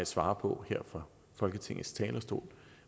svare på her fra folketingets talerstol